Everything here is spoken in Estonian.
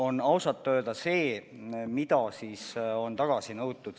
... näitavad ausalt öeldes seda, mis on tagasi nõutud.